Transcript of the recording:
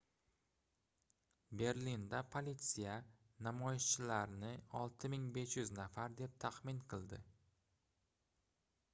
berlinda politsiya namoyishchilarni 6500 nafar deb taxmin qildi